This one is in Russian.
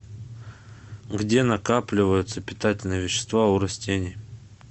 где накапливаются питательные вещества у растений